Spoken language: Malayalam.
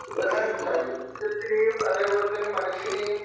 ഇതിന് ശരീരത്തിനേയും അതേപോലെതന്നെ മനസ്സിനേയും